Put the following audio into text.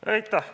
Aitäh!